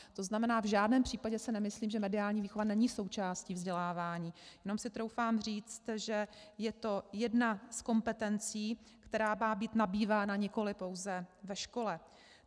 To znamená, v žádném případě si nemyslím, že mediální výchova není součástí vzdělávání, jenom si troufám říct, že je to jedna z kompetencí, která má být nabývána nikoli pouze ve škole.